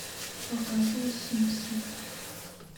показывай симпсоны